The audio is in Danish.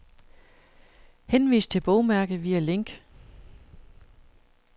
Henvis til bogmærke via link.